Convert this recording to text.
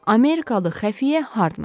Amerikalı xəfiyyə Hardman.